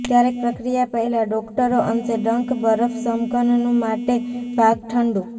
ક્યારેક પ્રક્રિયા પહેલાં ડોક્ટરો અંશે ડંખ બરફ સમઘનનું માટે ભાગ ઠંડુ